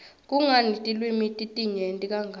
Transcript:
kungani tilwimi titinyenti kangaka